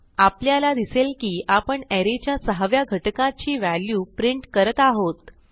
आपल्याला दिसेल की आपण अरे च्या सहाव्या घटकाची व्हॅल्यू प्रिंट करत आहोत